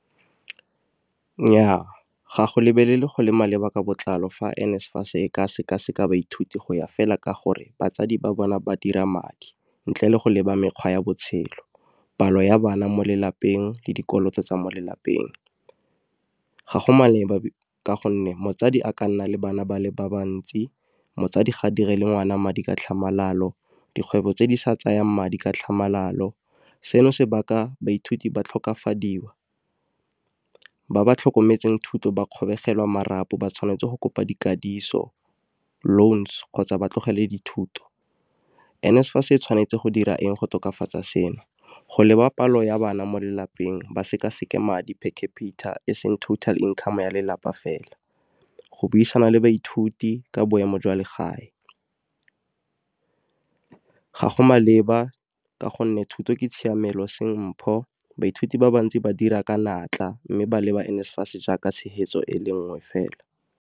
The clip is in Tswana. Nnyaa, ga go lebelele go le maleba ka botlalo fa N_SFAS e ka seka-seka ba ithuti go ya fela ka gore batsadi ba bona ba dira madi. Ntle le go leba mekgwa ya botshelo, palo ya bana mo lelapeng le dikoloto tsa mo lelapeng. Ga go maleba ka gonne motsadi a ka nna le bana bale ba bantsi motsadi ga dire le ngwana madi ka tlhamalalo, dikgwebo tse di sa tsayang madi ka tlhamalalo, seno se baka baithuti ba tlhokafadiwa. Ba ba tlhokometseng thuto ba kgobegelwa marapo ba tshwanetse go kopa , loans kgotsa ba tlogele dithuto. N_SFAS e tshwanetse go dira eng go tokafatsa seno? Go leba palo ya bana mo lelapeng ba seka-seka madi per capita e seng total income ya lelapa fela. Go buisana le baithuti ka boemo jwa legae. Ga go maleba ka gonne thuto ke tshiamelo seng mpho baithuti ba bantsi ba dira ka natla mme ba leba N_SFAS jaaka tshegetso e le nngwe fela.